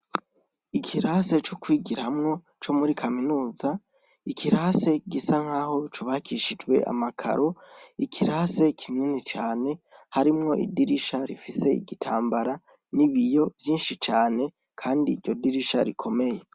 Ikirase co kwigira hamwo co muri kaminuza ikirase kigisa nk'aho co ubakishijwe amakaro ikirase kinini cane harimwo idirisha rifise igitambara n'ibiyo vyinshi cane, kandi iryo dirisha rikomeye.